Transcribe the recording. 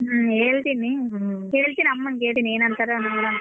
ಹ್ಮ್ ಹೇಳ್ತೀನಿ ಕೇಳ್ತೀನಿ ಅಮ್ಮನ್ಗ್ ಹೇಳ್ತೀನಿ ಏನ್ ಅಂತಾರೋ ನೋಡೋಣ.